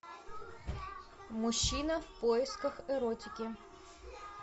мужчина в поисках эротики